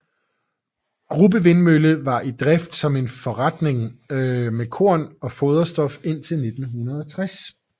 Grubbe vindmølle var i drift som forretning med korn og foderstof indtil 1960